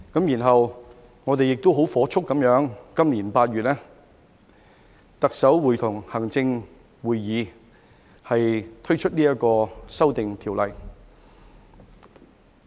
然後，我們亦火速在今年8月，特首會同行政會議推出《2021年國旗及國徽條例草案》。